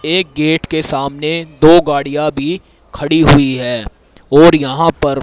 एक गेट के सामने दो गाड़ियां भी खड़ी हुई है और यहां पर--